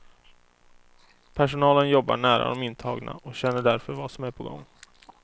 Personalen jobbar nära de intagna och känner därför vad som är på gång.